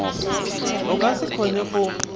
o ka se kgone go